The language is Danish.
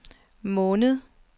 måned